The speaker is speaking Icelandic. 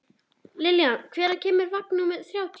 Lillian, hvenær kemur vagn númer þrjátíu?